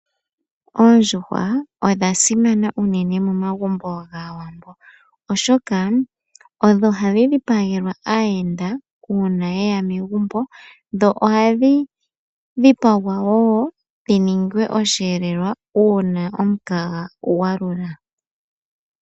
Oondjuhwa odha simana unene momagumbo gAawambo , oshoka odho hadhi dhipagelwa aayenda uuna yeya megumbo. Dho ohadhi dhipagwa woo dhiningwe osheelelwa uuna omukaga gwalula.